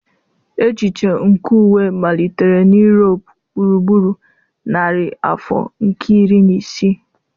Echiche nke uwe malitere na Europe gburugburu narị afọ nke iri na isii.